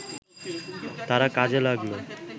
তারা কাজে লাগল